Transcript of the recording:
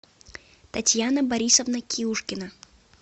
татьяна борисовна киушкина